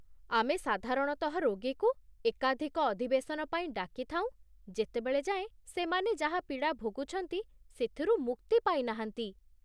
ଆମେ ସାଧାରଣତଃ ରୋଗୀକୁ ଏକାଧିକ ଅଧିବେଶନ ପାଇଁ ଡାକି ଥାଉଁ, ଯେତେବେଳ ଯାଏଁ ସେମାନେ ଯାହା ପୀଡ଼ା ଭୋଗୁଛନ୍ତି ସେଥିରୁ ମୁକ୍ତି ପାଇ ନାହାନ୍ତି।